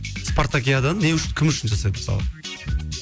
спартакиаданы не үшін кім үшін жасайды мысалы